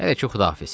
Hələ ki Xudahafiz.